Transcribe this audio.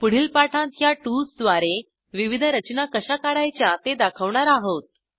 पुढील पाठांत ह्या टूल्सद्वारे विविध रचना कशा काढायच्या ते दाखवणार आहोत